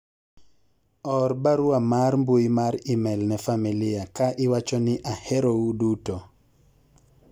or barua mar mbui mar email ne familia ka iwacho ni ahero u uduto